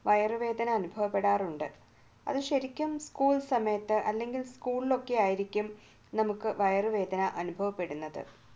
വയറുവേദന അനുഭവപ്പെടാറുണ്ട് അത് ശരിക്കും സ്കൂൾ സമയത്ത് അല്ലെങ്കിൽ സ്കൂളിലൊക്കെ ആയിരിക്കും നമ്മുക്ക് വയറുവേദനാനുഭവപ്പെടുന്നത്